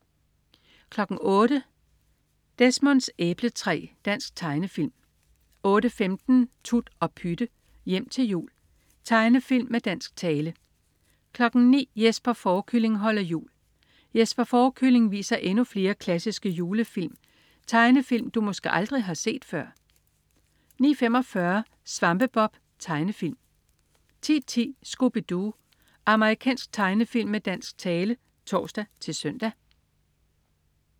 08.00 Desmonds æbletræ. Dansk tegnefilm 08.15 Tut og Pytte. Hjem til jul. Tegnefilm med dansk tale 09.00 Jesper Fårekylling holder jul. Jesper Fårekylling viser endnu flere klassiske julefilm. Tegnefilm, du måske aldrig har set før! 09.45 Svampebob. Tegnefilm 10.10 Scooby Doo. Amerikansk tegnefilm med dansk tale (tors-søn)